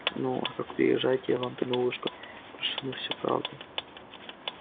ну а как умирать буду приезжайте я вам тогда на ушко перешепну всю правду